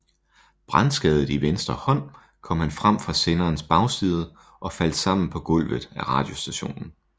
Brandskadet i venstre hånd kom han frem fra senderens bagside og faldt sammen på gulvet af radiostationen